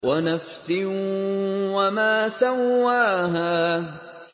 وَنَفْسٍ وَمَا سَوَّاهَا